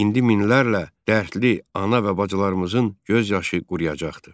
İndi minlərlə dərdli ana və bacılarımızın göz yaşı quruyacaqdır.